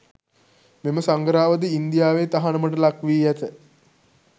මෙම සඟරාවද ඉන්දියාවේ තහනමට ලක්වි ඇත.